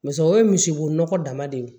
o ye misibo nɔgɔ dama de ye